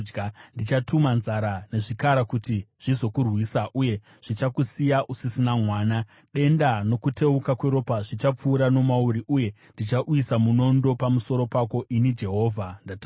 Ndichatuma nzara nezvikara kuti zvizokurwisa, uye zvichakusiya usisina mwana. Denda nokuteuka kweropa zvichapfuura nomauri, uye ndichauyisa munondo pamusoro pako. Ini Jehovha ndataura.”